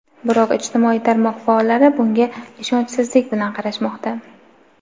Biroq ijtimoiy tarmoq faollari bunga ishonchsizlik bilan qarashmoqda.